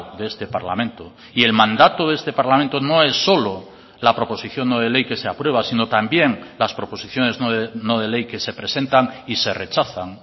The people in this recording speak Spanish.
de este parlamento y el mandato de este parlamento no es solo la proposición no de ley que se aprueba sino también las proposiciones no de ley que se presentan y se rechazan